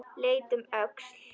Leit um öxl.